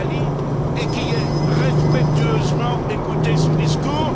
Ben Ali et qui ai respectueusement écouté son discours.